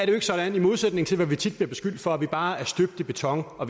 jo ikke sådan i modsætning til hvad vi tit bliver beskyldt for at vi bare er støbt i beton og